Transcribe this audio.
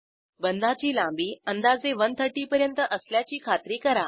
बंधाची लांबी अंदाजे 130पर्यंत असल्याची खात्री करा